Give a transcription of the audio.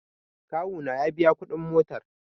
kawona ya biya kudin motar